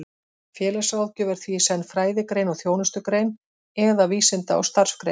Félagsráðgjöf er því í senn fræðigrein og þjónustugrein, eða vísinda- og starfsgrein.